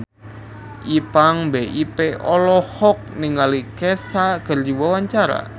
Ipank BIP olohok ningali Kesha keur diwawancara